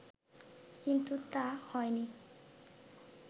কিন্তু তা হয়নি